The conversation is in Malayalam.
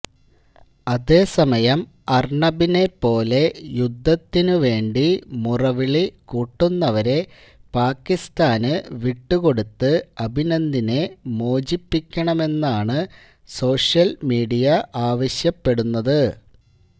അതേസമയം അര്ണബിനെപ്പോലെ യുദ്ധത്തിനുവേണ്ടി മുറവിളി കൂട്ടുന്നവരെ പാക്കിസ്താന് വിട്ടുകൊടുത്ത് അഭിനന്ദിനെ മോചിപ്പിക്കണമെന്നാണ് സോഷ്യല് മീഡിയ ആവശ്യപ്പെടുന്നത്